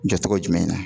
Jɔcogo jumɛn na